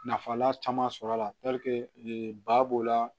Nafa la caman sɔr'a la ba b'o la